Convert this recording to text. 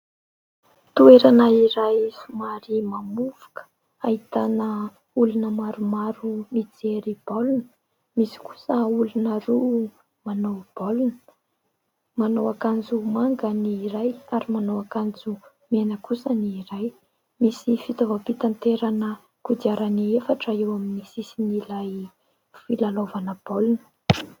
Toerana iray somary mamovoka, ahitana olona maromaro mijery baolina ; misy kosa olona roa manao baolina, manao akanjo manga ny iray ary manao akanjo mena kosa ny iray. Misy fitaovam-pitaterana kodiarana efatra eo amin'ny sisin'ilay filalaovana baolina.